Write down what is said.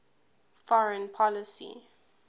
foreign policy